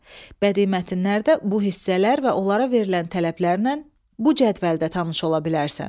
Bədii mətnlərdə bu hissələr və onlara verilən tələblərlə bu cədvəldə tanış ola bilərsən.